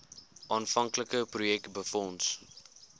aanvanklike projek befonds